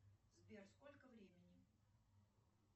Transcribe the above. сбер сколько времени